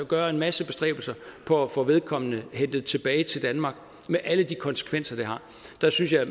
gøre en masse bestræbelser på at få vedkommende hentet tilbage til danmark med alle de konsekvenser det har der synes jeg